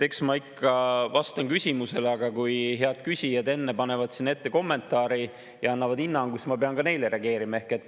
Eks ma ikka vastan küsimusele, aga kui head küsijad enne panevad selle ette kommentaari ja annavad hinnangu, siis ma pean ka neile reageerima.